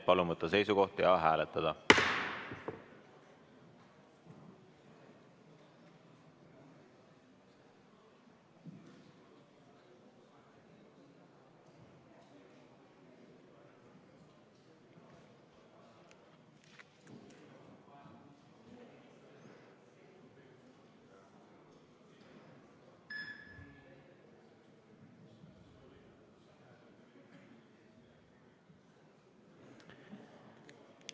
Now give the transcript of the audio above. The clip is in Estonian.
Palun võtta seisukoht ja hääletada!